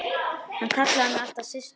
Hann kallaði mig alltaf Systu.